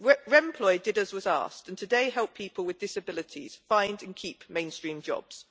Remploy did as was asked and today helps people with disabilities find and keep mainstream jobs.